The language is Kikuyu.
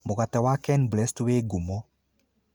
Mũgate wa Kenblest wĩ ngumo.